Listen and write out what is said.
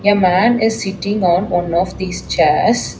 A man is sitting on one of these chairs.